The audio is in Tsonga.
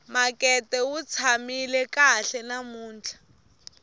makete wu tshamile kahle namuntlha